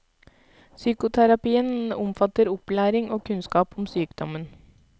Psykoterapien omfatter opplæring og kunnskap om sykdommen.